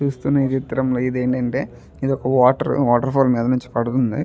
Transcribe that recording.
చూస్తున్నాయి చిత్రంలో ఇదేంటంటే ఇదొక వాటర్ వాటర్ ఫాల్ మీద నుంచి పడుతుంది.